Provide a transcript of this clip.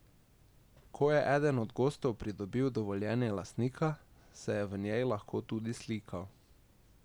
Ko je eden od gostov pridobil dovoljenje lastnika, se je v njej lahko tudi slikal.